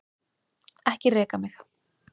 Ekki reka mig.